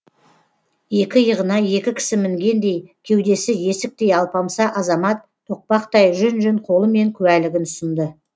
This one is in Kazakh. екі иығына екі кісі мінгендей кеудесі есіктей алпамса азамат тоқпақтай жүн жүн қолымен куәлігін ұсынды